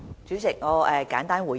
主席，我簡單作出回應。